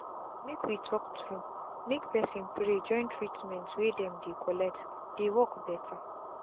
make we talk true make person pray jointreatment wey dem dey collectdey work better.